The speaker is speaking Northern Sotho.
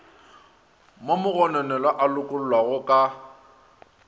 mo mogononelwa a lokollwago ka